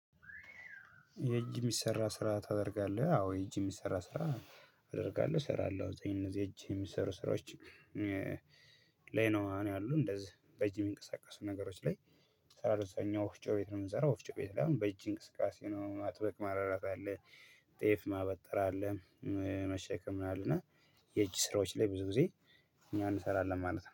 የእጅ የሚሰራ ስራ ታደርጋለህ? አዎ የእጅ የሚሰራ ስራ አደርጋለሁ እሰራለሁ። በእጅ የሚሰሩ ስራወች ላይ ነው አሁን ያሉ እንደዚህ በእጅ የሚንቀሳቀሱ ነገሮች ላይእሰራለሁ። እኛ ወፍጮ ቤት ነው የምንሰራው ወፍጮ ቤት አሁን በእጅ እንቅስቃሴ ነው ጤፍ ማበጠር አለ መሸከም ነው የእጅ ስራዎች ላይ ብዙ ጊዜ እኛ እንሰራለን ማለት ነው።